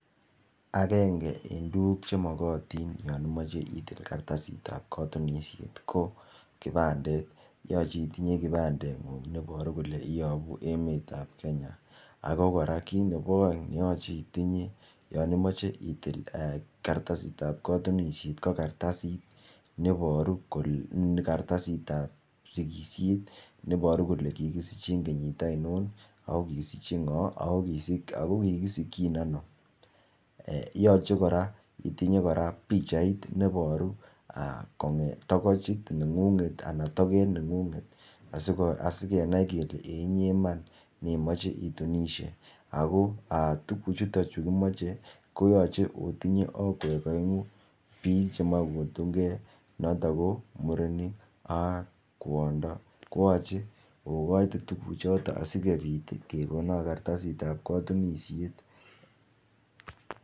akenge en tuguk chemogotin yon imoche itil kartasit tab kotunisiet ko kibandet yoche itinye kibandet ng'ung neiboru kole ibunu emet ab kenya ako kora kit nepo oeng neyoche itinye yoon imoche itil kartasit ab kotunisiet ko kartasit ab sigisiet neiboru kole kikisichin kenyit ainon ako kikisikyin ano yoche kora itinye kora pichait neiboru togoch neng'unget anan togeet neng'unget sikenai kele inyee iman neimoche itunisiet ako tuguchuton chukimoche koyoche otinye okwek oeng'u biik chemoe kotung'e chotok ko murenik ak kwondo koyoche okoite tuguchon asikekonok kartasit ab kotunisiet